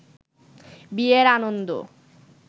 বিয়ের আনন্দ